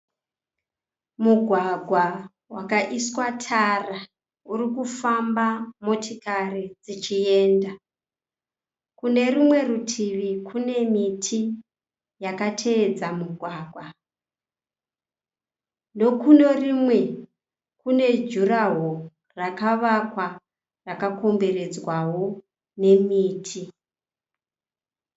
Mugwagwa wakaiswa tara urikufamba motikari dzichiyenda. Kune rumwe rutivi kune miti yakatevedza mugwagwa. , nokune rimwe kune juraho rakavakwa rakakomberedzwawo nemiti.